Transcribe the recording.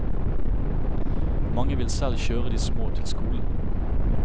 Mange vil selv kjøre de små til skolen.